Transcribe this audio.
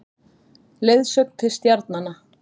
Leiðsögn til stjarnanna.